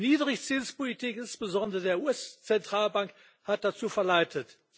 Die Niedrigzinspolitik insbesondere der US Zentralbank hat dazu verleitet.